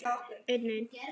Ég held mínu striki.